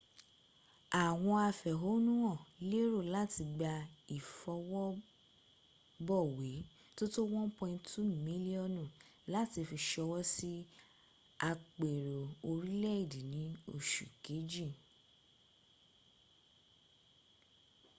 àwọn afẹ̀hohnúhàn lérò láti gba ìfọwọ́bọ̀wé tó tó 1.2 miliọnu láti fi ṣọwọ́ sí àpérò orílẹ̀èdè ni oṣu kejìl